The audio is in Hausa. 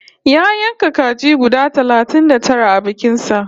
Ya yanka kaji guda talatin da tara a bikin sa